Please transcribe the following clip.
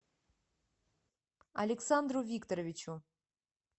александру викторовичу